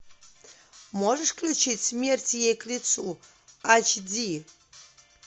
можешь включить смерть ей к лицу эйч ди